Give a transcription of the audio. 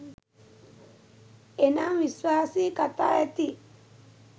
එනම්, විශ්වාසී කතා ඇති